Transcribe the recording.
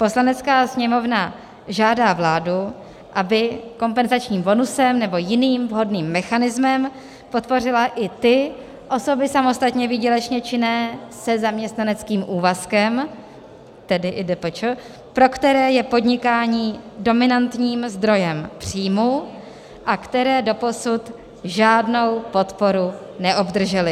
Poslanecká sněmovna žádá vládu, aby kompenzačním bonusem nebo jiným vhodným mechanismem podpořila i ty osoby samostatně výdělečné činné se zaměstnaneckým úvazkem, tedy i DPČ, pro které je podnikání dominantním zdrojem příjmu a které doposud žádnou podporu neobdržely."